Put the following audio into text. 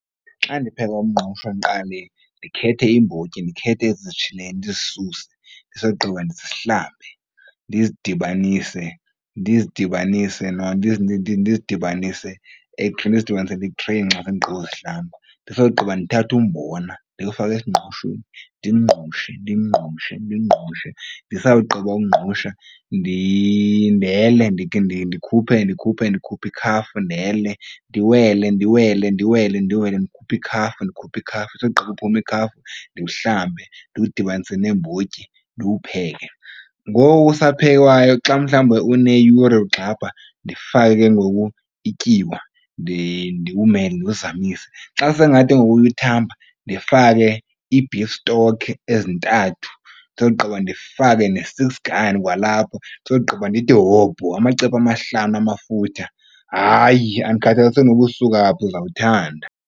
Xa ndipheka umngqusho ndiqale ndikhethe iimbotyi ndikhethe ezi zitshileyo ndizisuse, ndisawugqiba ndizihlambe ndizidibanise etreyini xa sendogqiba kuzihlamba. Ndisawugqiba ndithathe umbona ndiwufake esingqusho ndingqushe, ndingqushe, ndingqushe ndisawugqiba ungqusha ndele ndikhuphe ikhafu ndele, ndiwele ndiwele ndiwele ndiwele ndikhuphe ikhafu ndikhuphe ikhafu. Kusogqiba ukuphuma ikhafu ndiwuhlambe ndiwudibanise neembotyi ndiwupheke. Ngoku usaphekwayo xa mhlawumbe uneeyure ugxabha ndifake ke ngoku ityiwa, ndiwumele ndiwuzamise. Xa sengathi ngoku uyuthamba ndifake ii-beef stock ezintathu sogqiba ndifake ne-six gun kwalapho sogqiba ndithi hobho amacephe amahlanu amafutha. Hayi andikhathaliseki noba usuka phi uzawuthanda.